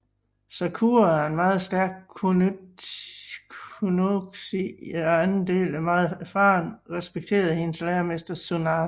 Sakura er en meget stærk Kunoichi i anden del og er meget erfaren og respekteret af hendes læremester Tsunade